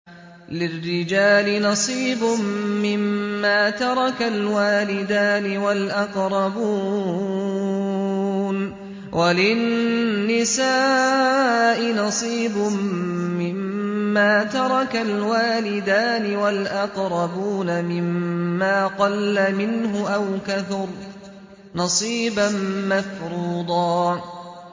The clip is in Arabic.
لِّلرِّجَالِ نَصِيبٌ مِّمَّا تَرَكَ الْوَالِدَانِ وَالْأَقْرَبُونَ وَلِلنِّسَاءِ نَصِيبٌ مِّمَّا تَرَكَ الْوَالِدَانِ وَالْأَقْرَبُونَ مِمَّا قَلَّ مِنْهُ أَوْ كَثُرَ ۚ نَصِيبًا مَّفْرُوضًا